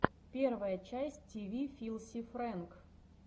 первая часть ти ви филси фрэнк